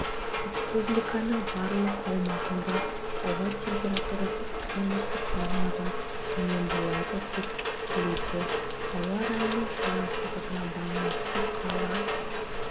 республиканың барлық аумағындағы ауа температурасы климаттық нормадан төмен болады деп күтілуде ауа райының қолайсыздығына байланысты қала